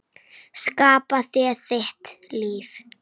Skapa þér þitt líf.